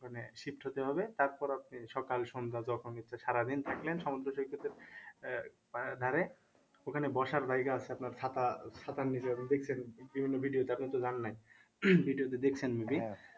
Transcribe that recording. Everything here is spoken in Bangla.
ওখানে shift হতে হবে তারপর আপনি সকাল সন্ধ্যা যখন ইচ্ছা সারাদিন থাকলেন সমুদ্র সৈকতের আহ মানে ধারে ওখানে বসার জায়গা আছে আপনার ছাতা ছাতার নিচে হয়তো দেখছেন বিভিন্ন video তে আপনি তো যান নাই video তে দেখছেন যদি